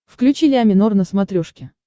включи ля минор на смотрешке